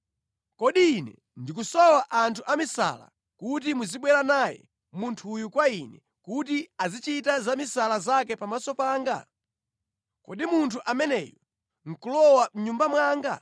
Kodi ine ndikusowa anthu amisala kuti muzibwera naye munthuyu kwa ine kuti azidzachita zamisala zake pamaso panga? Kodi munthu ameneyu nʼkulowa mʼnyumba mwanga?”